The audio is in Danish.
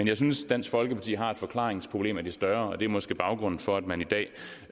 jeg synes dansk folkeparti har et forklaringsproblem af de større og det er måske baggrunden for at man i dag